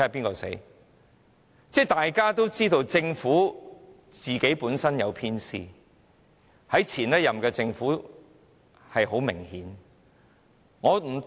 其實，大家也知道政府本身有偏私，這種情況在前任政府的時期是相當明顯的。